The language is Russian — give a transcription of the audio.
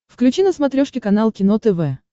включи на смотрешке канал кино тв